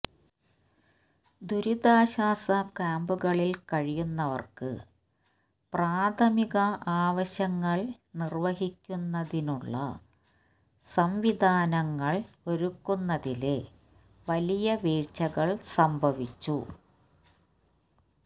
ദുരിതാശ്വാസ ക്യാമ്പുകളില് കഴിയുന്നവര്ക്ക് പ്രാഥമിക ആവശ്യങ്ങള് നിര്വഹിക്കുന്നതിനുള്ള സംവിധാനങ്ങള് ഒരുക്കുന്നതില് വലിയ വീഴ്ചകള് സംഭവിച്ചു